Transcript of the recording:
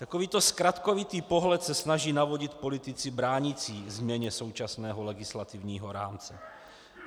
Takovýto zkratkovitý pohled se snaží navodit politici bránící změně současného legislativního rámce.